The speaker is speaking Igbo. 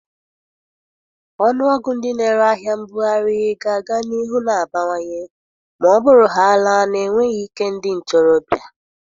Ọnụọgụ ndị na-ere ahịa mbughari ga-aga n'ihu na-abawanye ma ọ bụrụhaala na enweghị ike ndị ntorobịa.